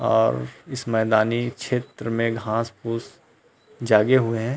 और इस मैदानी क्षेत्र में घास पूस जागे हुए हैं।